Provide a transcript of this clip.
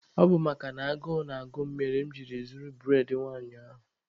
Ọ bụ makana agụụ na-agụ m mere mụ jiri zuo bụredị nwanyị ahụ.